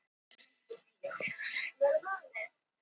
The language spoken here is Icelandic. Buðu hættunni heim